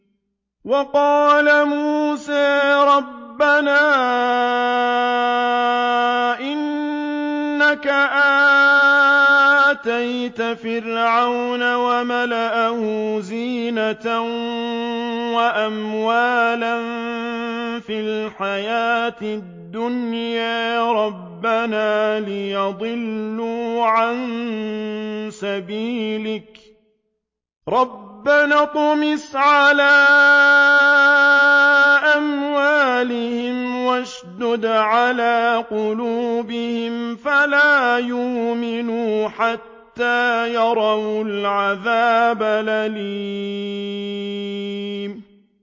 وَقَالَ مُوسَىٰ رَبَّنَا إِنَّكَ آتَيْتَ فِرْعَوْنَ وَمَلَأَهُ زِينَةً وَأَمْوَالًا فِي الْحَيَاةِ الدُّنْيَا رَبَّنَا لِيُضِلُّوا عَن سَبِيلِكَ ۖ رَبَّنَا اطْمِسْ عَلَىٰ أَمْوَالِهِمْ وَاشْدُدْ عَلَىٰ قُلُوبِهِمْ فَلَا يُؤْمِنُوا حَتَّىٰ يَرَوُا الْعَذَابَ الْأَلِيمَ